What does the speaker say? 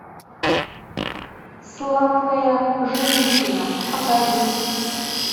сладкая женщина покажи